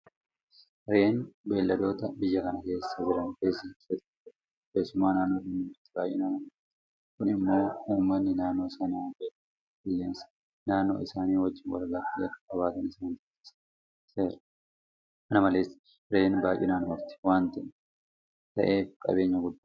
Re'een beelladoota biyya kana keessa jiran keessaa ishee tokkodha. Keessumaa naannoo gammoojjiitti baay'inaan argamti. Kun immoo uummanni naannoo sanaa beellada qilleensa naannoo isaanii wajjin walbarte akka qabaatan isaan taasiseera. Kana malees Re'een baay'inaan horti waanta ta'eef qabeenya guddaadha.